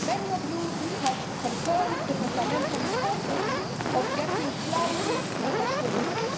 many of you have confirmed the fundamental importance of securing clarity and assurances.